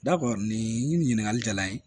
Dabɔ nin ɲininkali jala n ye